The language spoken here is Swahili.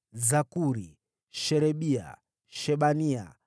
Zakuri, Sherebia, Shebania,